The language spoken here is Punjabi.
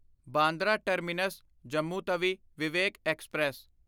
Bandra terminus Jammu Tawi Vivek express